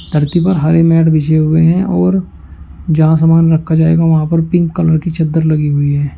धरती पर हरे मैट बिछे हुई है और जहां सामान रखा जाएगा वहां पर पिंक कलर की चद्दर लगी हुई है।